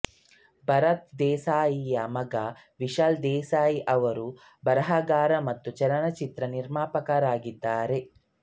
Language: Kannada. ಭಾರತ್ ದೇಸಾಯಿಯ ಮಗ ವಿಶಾಲ್ ದೇಸಾಯಿ ಅವರು ಬರಹಗಾರ ಮತ್ತು ಚಲನಚಿತ್ರ ನಿರ್ಮಾಪಕರಾಗಿದ್ದಾರೆ